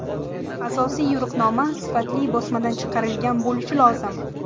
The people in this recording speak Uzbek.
Asosiy yo‘riqnoma sifatli bosmadan chiqarilgan bo‘lishi lozim.